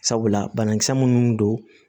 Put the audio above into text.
Sabula banakisɛ munnu don